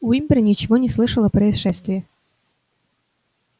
уимпер ничего не слышал о происшествии